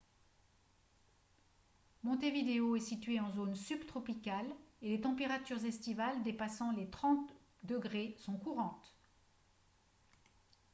montevideo est situé en zone subtropicale et les températures estivales dépassant les 30 °c sont courantes